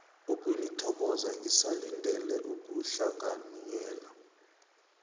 ukunithokoza ngisalindele ukuhlanganyela